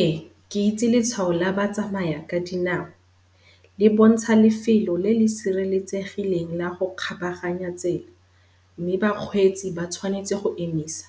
Ee, ke itse letshwao la batsamayakadinao. Le bontsha lefelo le le sireletsegileng la go kgabaganya tsela, mme ba kgweetsi ba tswanetse go emisa.